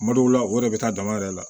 Tuma dɔw la o yɛrɛ bɛ taa dama yɛrɛ la